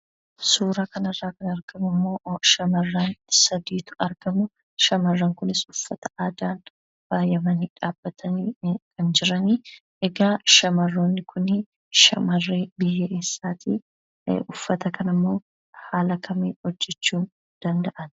Suuraa kanarraa kan argamu immoo shamarran sadiitu argama. Shamarran kunis uffata aadaan faayamanii dhaabbataniitu kan jiranii. Egaa shamarroonni kunii shamarree biyya eessaati? Uffata kanammoo haala kamiin hojjachuu danda'an?